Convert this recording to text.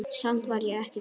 Samt var ég ekki glöð.